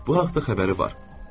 Bu haqda xəbəri var.